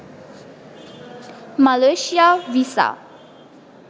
Malaysia visa